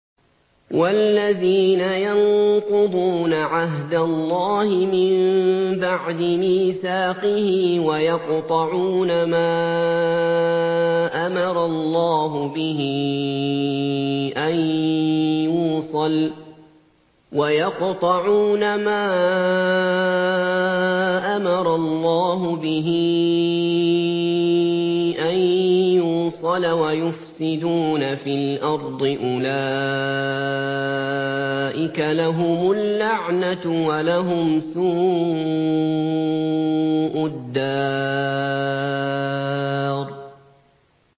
وَالَّذِينَ يَنقُضُونَ عَهْدَ اللَّهِ مِن بَعْدِ مِيثَاقِهِ وَيَقْطَعُونَ مَا أَمَرَ اللَّهُ بِهِ أَن يُوصَلَ وَيُفْسِدُونَ فِي الْأَرْضِ ۙ أُولَٰئِكَ لَهُمُ اللَّعْنَةُ وَلَهُمْ سُوءُ الدَّارِ